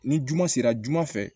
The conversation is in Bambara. Ni juma sera juman fɛ